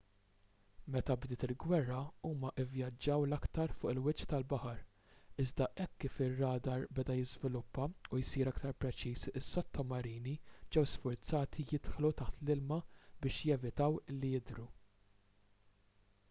meta bdiet il-gwerra huma vvjaġġaw l-aktar fuq il-wiċċ tal-baħar iżda hekk kif ir-radar beda jiżviluppa u jsir aktar preċiż is-sottomarini ġew sfurzati jidħlu taħt l-ilma biex jevitaw li jidhru